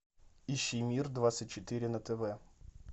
ищи мир двадцать четыре на тв